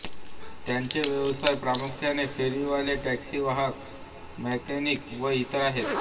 त्यांचे व्यवसाय प्रामुख्याने फेरीवाले टॅक्सी वाहक मॅकेनिक व इतर आहेत